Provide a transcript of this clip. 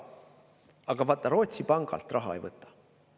Aga vaata, Rootsi pangalt ta raha ei võta.